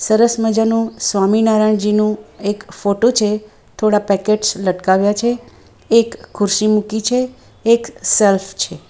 સરસ મજાનું સ્વામીનારાયણજીનું એક ફોટો છે થોડા પેકેટ્સ લટકાવ્યા છે એક ખુરશી મૂકી છે એક સેલ્ફ છે.